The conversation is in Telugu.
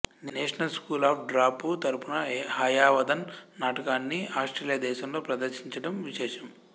నేషనల్ స్కూల్ ఆఫ్ డ్రాపూ తరపున హయవదన నాటకాన్ని ఆస్ట్రేలియా దేశంలో ప్రదర్శించడం విశేషం